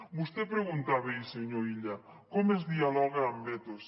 vostè preguntava ahir senyor illa com es dialoga amb vetos